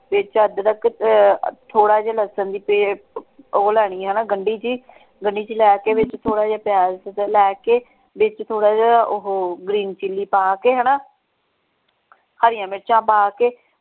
ਵਿੱਚ ਅਦਰਕ ਤੇ ਥੋੜਾ ਜਿਹਾ ਲਸਣ ਭੀ ਤੇ ਉਹ ਲੈਣੀ ਹੈ ਨਾ ਗੰਢੀ ਜੀ ਤੇ ਗੰਢੀ ਜੀ ਲੈ ਕੇ ਵਿੱਚ ਥੋੜਾ ਜਿਹਾ ਪਿਆਜ਼ ਤੇ ਲੈ ਕੇ ਵਿੱਚ ਥੋੜਾ ਜਿਹਾ ਓਹੋ green chilly ਪਾ ਕੇ ਹਣਾ ਹਰੀਆਂ ਮਿਰਚਾਂ ਪਾ ਕੇ।